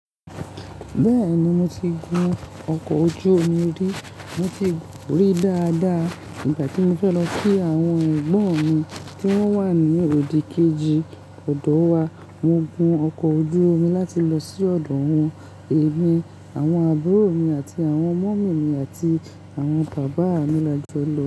Bẹ́ẹ̀ni, mo ti gun ọkọ̀ ojú omi rí. Mo ti rí dáadáa. Ìgbà tí mo fẹ́ lọ kí àwọn Ẹ̀gbọ́n mi tí wọ́n wà ní ìlú òdì kejì ọ̀dọ̀ wa, mo gun ọkọ̀ ojú omi láti lọ sí ọ̀dọ̀ wọn, èmi, àwọn àbúrò mi àti àwọn ọmọ mi àti àwọn bàbá mi la jọ lọ.